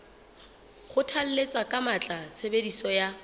kgothalletsa ka matla tshebediso ya